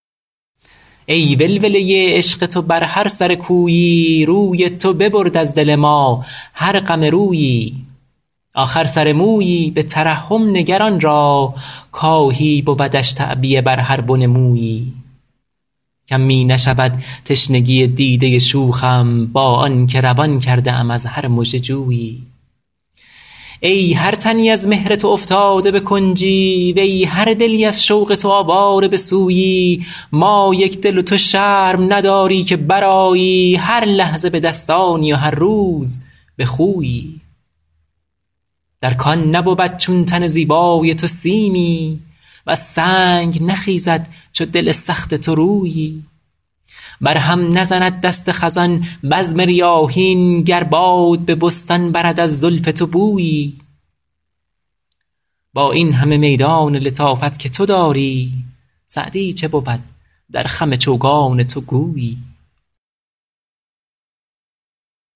ای ولوله عشق تو بر هر سر کویی روی تو ببرد از دل ما هر غم رویی آخر سر مویی به ترحم نگر آن را کآهی بودش تعبیه بر هر بن مویی کم می نشود تشنگی دیده شوخم با آن که روان کرده ام از هر مژه جویی ای هر تنی از مهر تو افتاده به کنجی وی هر دلی از شوق تو آواره به سویی ما یکدل و تو شرم نداری که برآیی هر لحظه به دستانی و هر روز به خویی در کان نبود چون تن زیبای تو سیمی وز سنگ نخیزد چو دل سخت تو رویی بر هم نزند دست خزان بزم ریاحین گر باد به بستان برد از زلف تو بویی با این همه میدان لطافت که تو داری سعدی چه بود در خم چوگان تو گویی